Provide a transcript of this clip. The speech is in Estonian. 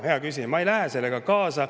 Hea küsija, ma ei lähe sellega kaasa.